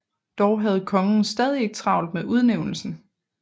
Dog havde kongen stadig ikke travlt med udnævnelsen